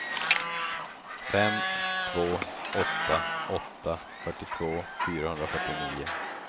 fem två åtta åtta fyrtiotvå fyrahundrafyrtionio